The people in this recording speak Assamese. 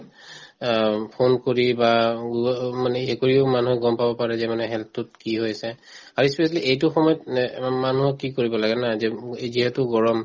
অ, উম phone কৰি বা উম উম মানে কৰিও মানুহে গম পাৰে যে মানে health তো কি হৈ আছে আৰু ই specially এইটো সময়ত নে অম মানুহক কি কৰিব লাগে না যে উম যিহেতু গৰম